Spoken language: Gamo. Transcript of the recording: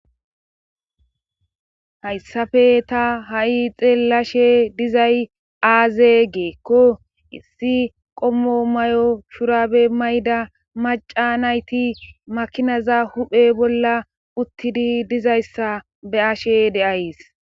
Hayssafe ta ha7i xeellashe dizay aaze geekko issi qommo may7o shurabe mayda maca nayti makinaza huphe bolla uttidi dizayssa be ashe deays